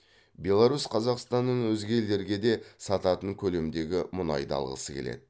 беларусь қазақстаннан өзге елдерге де сататын көлемдегі мұнайды алғысы келеді